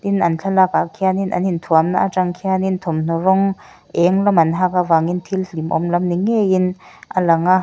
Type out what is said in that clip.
tin an thlalak ah khianin an in thuamna atang khianin thawmhnaw rawng eng lam an hak avangin thil hlimawm lam ni ngeiin a lang a.